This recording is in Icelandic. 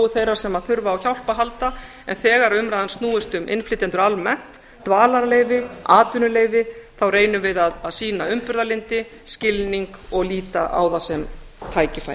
þeirra sem þurfa á hjálp að halda en þegar umræðan snýst um innflytjendur almennt dvalarleyfi atvinnuleyfi þá reynum við að sýna umburðarlyndi skilning og líta á það sem tækifæri